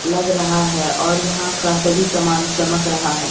लग रहा है और यहां का सभी सामान चमक रहा है।